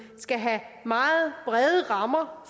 skal have meget brede rammer